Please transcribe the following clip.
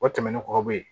O tɛmɛnen kɔ ka bɔ yen